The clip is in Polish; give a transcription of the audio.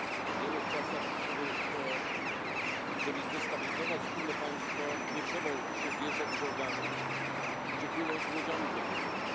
Żyjemy w czasach, w których żeby zdestabilizować inne państwo, nie trzeba już dzisiaj wjeżdżać czołgami czy płynąć łodziami podwodnymi.